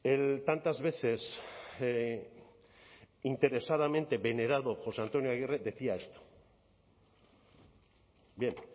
el tantas veces interesadamente venerado josé antonio aguirre decía esto bien